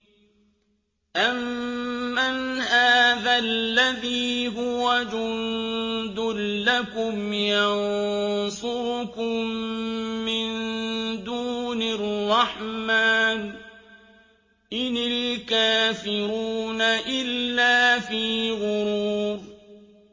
أَمَّنْ هَٰذَا الَّذِي هُوَ جُندٌ لَّكُمْ يَنصُرُكُم مِّن دُونِ الرَّحْمَٰنِ ۚ إِنِ الْكَافِرُونَ إِلَّا فِي غُرُورٍ